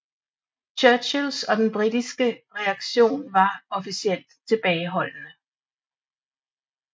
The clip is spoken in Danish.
Churchills og den britiske reaktion var officielt tilbageholdende